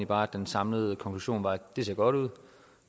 bare den samlede konklusion var at det ser godt ud